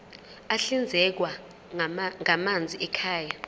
ahlinzekwa ngamanzi ekhaya